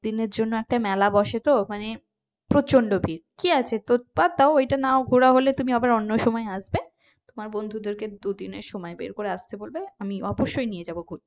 দিনের জন্য একটা মেলা বসে তো মানে প্রচন্ড ভিড় কি আছে তোর তা ওইটা নাও ঘোরা হলে তুমি আবার অন্য সময় আসবে তোমার বন্ধুদেরকে দুদিনের সময় বের করে আসতে বলবে আমি অবশ্যই নিয়ে যাব ঘুরতে।